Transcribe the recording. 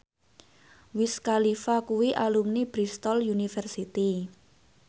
Wiz Khalifa kuwi alumni Bristol university